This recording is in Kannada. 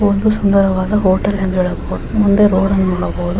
ಒಂದು ಸುಂದರವಾದ ಹೋಟೆಲ್ ಎಂದು ಹೇಳಬಹುದು. ಮುಂದೆ ರೋಡ್ ಅನ್ನು ನೋಡಬಬಹುದು.